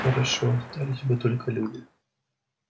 хорошо остались бы только люди